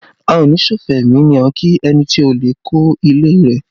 A o ní ṣòfò ẹmi ni a ń kí ẹni tí olè kó ilé rẹ